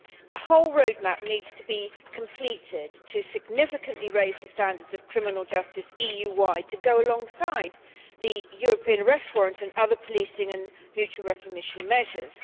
The whole road map needs to be completed to significantly raise the standards of criminal justice EU wide to go alongside the European arrest warrant and other policing and mutual recognition measures.